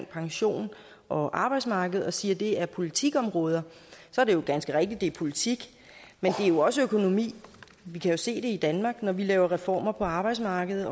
pension og arbejdsmarked og siger at det er politikområder så er det jo ganske rigtigt at det er politik men det er jo også økonomi vi kan jo se det i danmark når vi laver reformer på arbejdsmarkedet